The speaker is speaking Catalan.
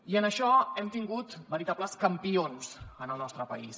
i en això hem tingut veritables campions en el nostre país